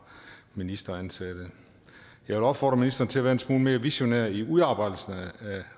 ministeransatte jeg vil opfordre ministeren til at være en smule mere visionær i udarbejdelsen af